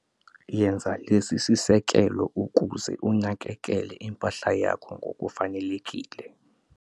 Yenza lesi sisekelo ukuze unakekele impahla yakho ngokufanelekile